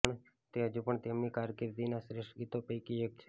તે હજુ પણ તેમની કારકિર્દીના શ્રેષ્ઠ ગીતો પૈકી એક છે